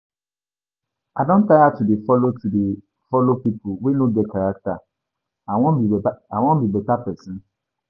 I don tire to dey to dey follow pipu wey no get character, I wan be beta i wan be beta pesin